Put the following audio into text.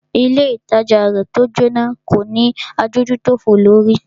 Ilé ìtajà rẹ̀ tí o Jóná kò ní adójútòfò lórí.